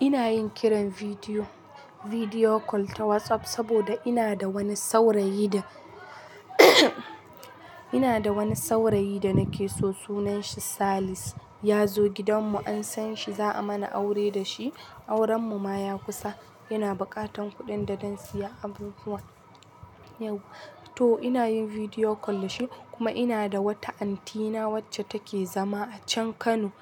Ina yin kiran bidiyo, bidiyo call ta WhatsApp, saboda ina da wani saurayi da, ina da wani saurayi da nake so. Sunan shi Salis. Ya zo gidanmu an san shi za a mana aure da shi, aurenmu ma ya kusa. Ina buƙatan kuɗin da don siya abubuwa. To ina yin bidiyo call da shi kuma ina da wata anti na wacce take zama a can Kano.